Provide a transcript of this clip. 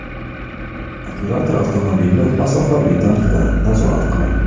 Operator avtomobilni masofaviy tarzda nazorat qiladi.